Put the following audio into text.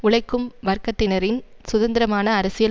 உழைக்கும் வர்க்கத்தினரின் சுதந்திரமான அரசியல்